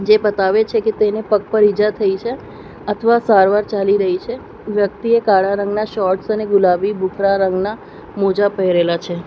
એ બતાવે છે કે તેને પગ પર ઈજા થઈ છે અથવા સારવાર ચાલી રહી છે વ્યક્તિએ કાળા રંગના શોર્ટ્સ અને ગુલાબી ભૂખરા રંગના મોજા પહેરેલા છે.